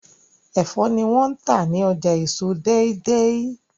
Ẹfọ ni wón tá ní ọjà èso Deidei